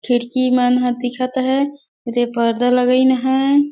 खिड़की मन दिखत है पर्दा लगाईन है।